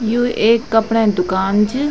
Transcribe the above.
यु ऐक कपड़ै दुकान च।